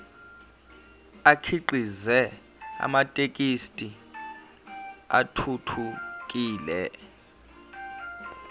akhiqize amathekisthi athuthukile